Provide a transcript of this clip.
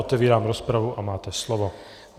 Otevírám rozpravu a máte slovo.